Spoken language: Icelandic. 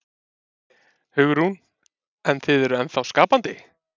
Hugrún: En þið eruð ennþá skapandi?